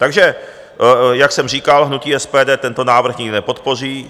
Takže jak jsem říkal, hnutí SPD tento návrh nikdy nepodpoří.